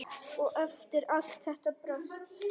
Og eftir allt þetta brölt!